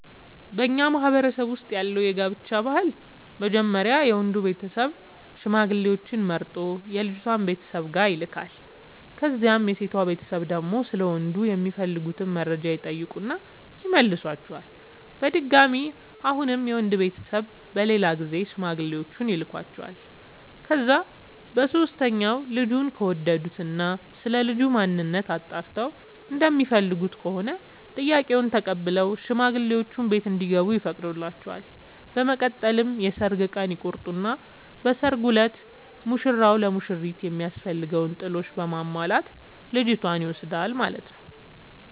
በኛ ማህበረሰብ ውስጥ ያለው የጋብቻ ባህል መጀመሪያ የወንዱ ቤተሰብ ሽማግሌዎች መርጦ የልጅቷ ቤተሰብ ጋር ይልካል። ከዛም የሴቷ ቤተሰብ ደግሞ ስለ ወንዱ የሚፈልጉትን መረጃ ይጠይቁና ይመልሷቸዋል። በድጋሚ አሁንም የወንድ ቤተሰብ በሌላ ጊዜ ሽማግሌዎቹን ይልኳቸዋል። ከዛ በሶስተኛው ልጁን ከወደዱት እና ስለልጁ ማንነት አጣርተው እንደሚፈልጉት ከሆነ ጥያቄውን ተቀብለው ሽማግሌዎቹ ቤት እንዲገቡ ይፈቅዱላቸዋል። በመቀጠል የሰርግ ቀን ይቆርጡና በሰርጉ እለት ሙሽራው ለሙሽሪት የሚያስፈልገውን ጥሎሽ በማሟላት ልጅቷን ይወስዳል ማለት ነው።